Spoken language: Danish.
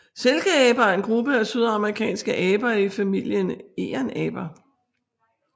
Silkeaber er en gruppe af sydamerikanske aber i familien egernaber